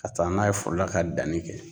Ka taa n'a ye foro la ka danni kɛ.